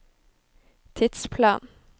tidsplan